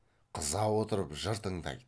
қыза отырып жыр тыңдайды